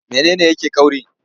Mene ne yake ƙauri?